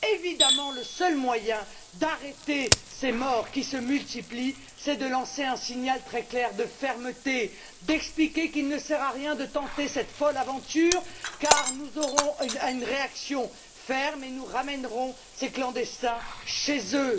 Évidemment, le seul moyen d'arrêter ces morts qui se multiplient, c'est de lancer un signal très clair de fermeté, d'expliquer qu'il ne sert à rien de tenter cette folle aventure car nous aurons une réaction ferme et nous ramènerons ces clandestins chez eux.